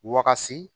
Wakasi